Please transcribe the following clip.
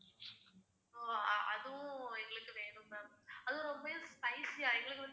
so அதுவும் எங்களுக்கு வேணும் ma'am அதுவும் ரொம்பயும் spicy ஆ எங்களுக்கு வந்து